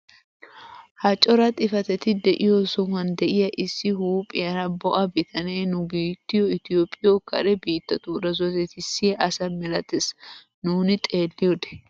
Ha cora xifatetti de'iyo sohuwaan de'iyaa issi huuphphiyaara bo'a bitanee nu biittyio itoophphiyoo kare biittatuura zorettisiyaa asa milatees nuuni xeelliyoode!